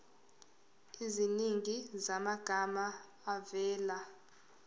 eziningi zamagama avela